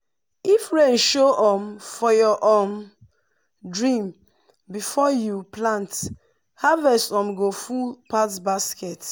if rain show um for your um dream before you plant harvest um go full pass basket.